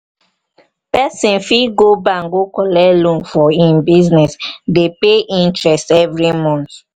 person fit go bank go collect loan for im business dey pay interest every month